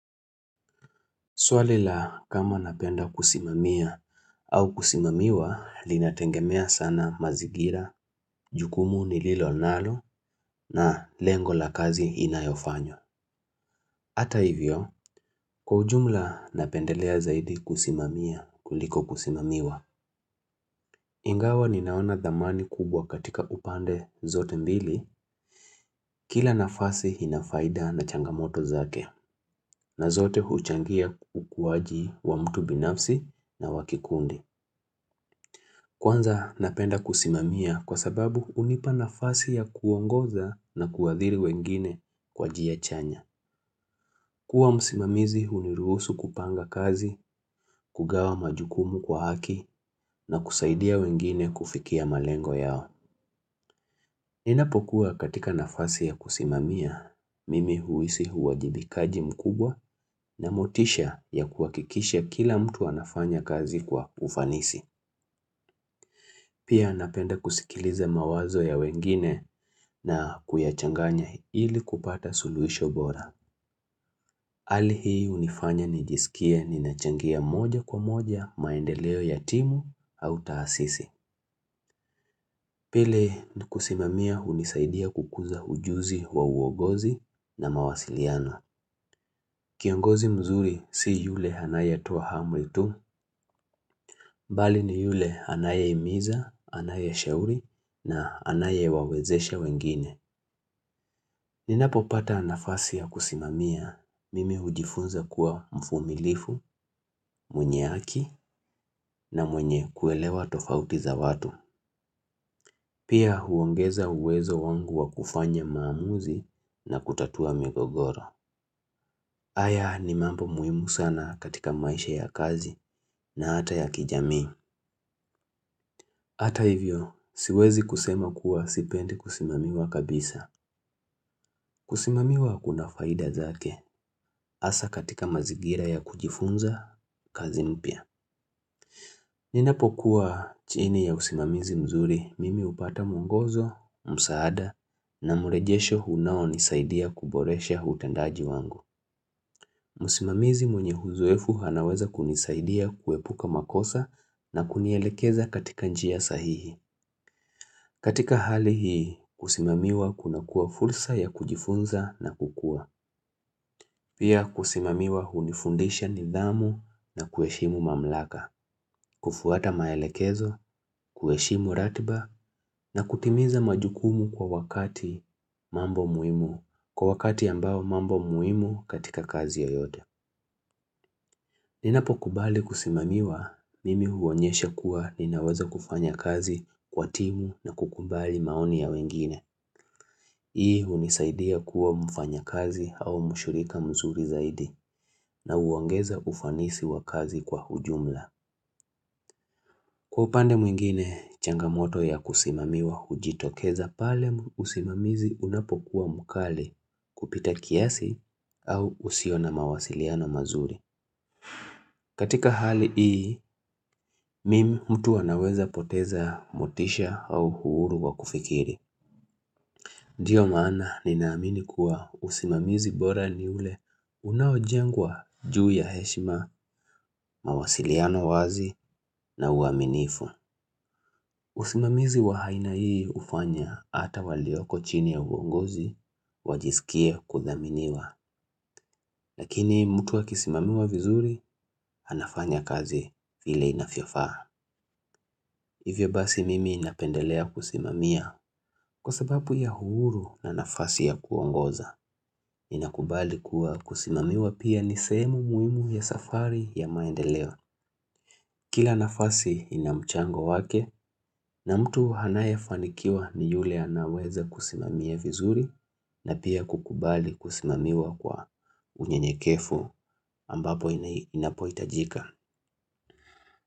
Swali la kama napenda kusimamia au kusimamiwa, linatengemea sana mazingira, jukumu nililo nalo na lengo la kazi inayofanyo. Ata hivyo, kwa ujumla napendelea zaidi kusimamia kuliko kusimamiwa. Ingawa ninaona thamani kubwa katika upande zote mbili, kila nafasi inafaida na changamoto zake, na zote huchangia ukuaji wa mtu binafsi na wa kikundi. Kwanza napenda kusimamia kwa sababu hunipa nafasi ya kuongoza na kuadhiri wengine kwa njia chanya. Kuwa msimamizi huniruhusu kupanga kazi, kugawa majukumu kwa haki na kusaidia wengine kufikia malengo yao. Ninapokuwa katika nafasi ya kusimamia, mimi huhisi uwajibikaji mkubwa na motisha ya kuhakikishe kila mtu anafanya kazi kwa ufanisi. Pia napenda kusikiliza mawazo ya wengine na kuyachanganya ili kupata suluhisho bora. Hali hii hunifanya nijisikia ninachangia moja kwa moja maendeleo ya timu au taasisi. Pili kusimamia hunisaidia kukuza ujuzi wa uongozi na mawasiliano. Kiongozi mzuri si yule anaye toa amri tu, bali ni yule anayahimiza, anaya shauri na anaya wawezesha wengine. Ninapo pata nafasi ya kusimamia, mimi hujifunza kuwa mvumilivu, mwenye haki na mwenye kuelewa tofauti za watu. Pia huongeza uwezo wangu wa kufanya maamuzi na kutatua migogoro. Haya ni mambo muhimu sana katika maisha ya kazi na hata ya kijamii. Hata hivyo, siwezi kusema kuwa sipendi kusimamiwa kabisa. Kusimamiwa kuna faida zake hasa katika mazigira ya kujifunza kazi mpya. Ninapokuwa chini ya usimamizi mzuri mimi hupata mwongozo, msaada na mrejesho unao nisaidia kuboresha utendaji wangu. Msimamizi mwenye uzoefu anaweza kunisaidia kuepuka makosa na kunielekeza katika njia ya sahihi. Katika hali hii kusimamiwa kuna kuwa fursa ya kujifunza na kukua. Pia kusimamiwa hunifundisha nidhamu na kuheshimu mamlaka, kufuata maelekezo, kueshimu ratiba na kutimiza majukumu kwa wakati mambo muhimu, kwa wakati ambao mambo muhimu katika kazi yeyote. Ninapo kubali kusimamiwa, mimi huonyesha kuwa ninaweza kufanya kazi kwa timu na kukubali maoni ya wengine. Hii hunisaidia kuwa mfanyakazi au mshirika mzuri zaidi na huongeza ufanisi wa kazi kwa ujumla. Kwa upande mwingine, changamoto ya kusimamiwa hujitokeza pale usimamizi unapo kuwa mkali kupita kiasi au usiona mawasiliano mazuri. Katika hali hii, mimi mtu anaweza kupoteza motisha au uhuru wa kufikiri. Ndiyo maana ninaamini kuwa usimamizi bora ni ule unaojengwa juu ya heshima, mawasiliano wazi na uaminifu. Usimamizi wa aina hii hufanya hata walioko chini ya uongozi, wajisikia kudhaminiwa. Lakini mtu akisimamiwa vizuri, anafanya kazi vile inavyofaa. Kwa sababu ya uhuru na nafasi ya kuongoza, ninakubali kuwa kusimamiwa pia nisehemu muhimu ya safari ya maendeleo. Kila nafasi ina mchango wake na mtu anaye fanikiwa ni yule anaweza kusimamiwa vizuri na pia kukubali kusimamiwa kwa unye nyekevu ambapo inapoitajika.